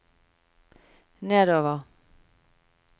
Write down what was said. nedover